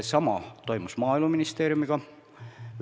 Sama toimus Maaeluministeeriumiga.